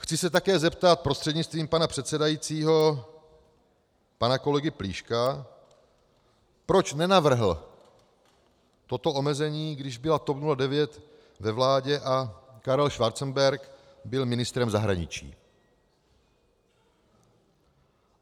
Chci se také zeptat prostřednictvím pana předsedajícího pana kolegy Plíška, proč nenavrhl toto omezení, když byla TOP 09 ve vládě a Karel Schwarzenberg byl ministrem zahraničí.